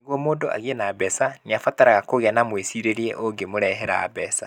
Nĩguo mũndũ agĩe na mbeca, nĩ abataraga kũgĩa na mwĩcirĩrie ũngĩmũrehera mbeca.